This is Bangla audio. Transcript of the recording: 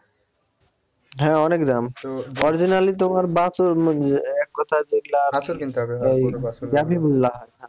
হ্যাঁ অনেক দাম orginally তোমার বাছুর মানে এক কথায় যেগুলা বাছুর কিনতে হবে,